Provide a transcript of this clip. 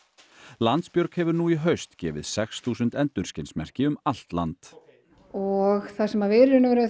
Landsbjörg hefur nú í haust gefið sex þúsund endurskinsmerki um allt land og það sem við